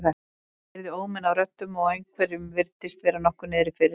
Ég heyrði óminn af röddum og einhverjum virtist vera nokkuð niðri fyrir.